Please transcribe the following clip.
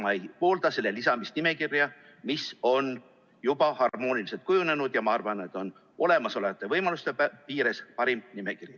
Samas ei poolda ma selle lisamist nimekirja, mis on juba harmooniliselt kujunenud, ja on, ma arvan, olemasolevate võimaluste piires parim nimekiri.